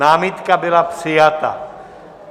Námitka byla přijata.